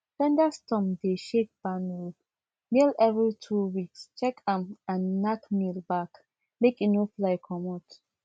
thunderstorm dey shake barn roof nail every two weeks check am and nack nail back make e no fly comot